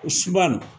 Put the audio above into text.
Suma